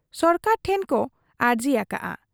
ᱥᱚᱨᱠᱟᱨ ᱴᱷᱮᱱ ᱠᱚ ᱟᱨᱡᱤ ᱟᱠᱟᱜ ᱟ ᱾